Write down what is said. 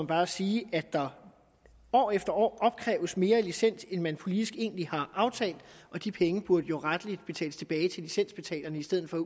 bare sige at der år efter år opkræves mere licens end man politisk egentlig har aftalt og de penge burde jo rettelig betales tilbage til licensbetalerne i stedet for at